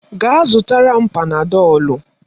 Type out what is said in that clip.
Gaa zụtara m Panadọlu.